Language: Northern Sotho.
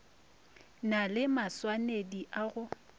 na le maswanedi a go